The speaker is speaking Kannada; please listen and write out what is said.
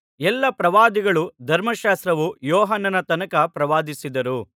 ಎಲ್ಲಾ ಪ್ರವಾದಿಗಳೂ ಧರ್ಮಶಾಸ್ತ್ರವು ಯೋಹಾನನ ತನಕ ಪ್ರವಾದಿಸಿದರು